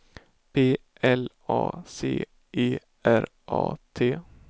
P L A C E R A T